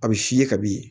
A bɛ f'i ye kabi